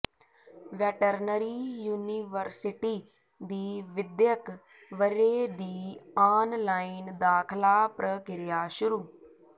veterinary university ਦੀ ਵਿੱਦਿਅਕ ਵਰ੍ਹੇ ਦੀ ਆਨਲਾਈਨ ਦਾਖਲਾ ਪ੍ਰਕਿਰਿਆ ਸ਼ੁਰੂ